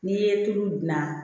N'i ye tulu dilan